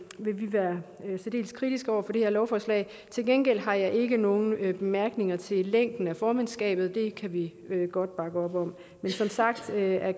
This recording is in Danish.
være særdeles kritiske over for det her lovforslag til gengæld har jeg ikke nogen bemærkninger til længden af formandskabet det kan vi godt bakke op om men som sagt er